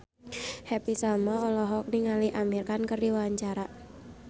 Happy Salma olohok ningali Amir Khan keur diwawancara